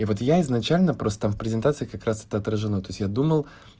вот я изначально просто презентация красота отражено то есть я думал